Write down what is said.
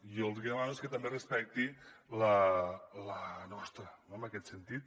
i jo el que demano és que també respecti la nostra no en aquest sentit